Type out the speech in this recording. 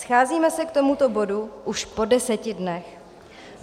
Scházíme se k tomuto bodu už po deseti dnech.